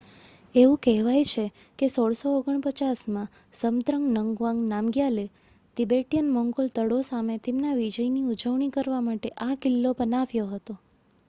એવું કહેવાય છે કે 1649માં ઝબ્દ્રંગ નંગવાંગ નામગ્યાલે તિબેટિયન-મોંગોલ દળો સામે તેમના વિજયની ઉજવણી કરવા માટે આ કિલ્લો બનાવ્યો હતો